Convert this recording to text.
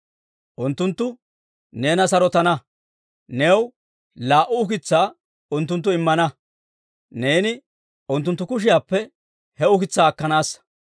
Unttunttu neena sarotana; new laa"u ukitsaa unttunttu immana; neeni unttunttu kushiyaappe he ukitsaa akkanassa.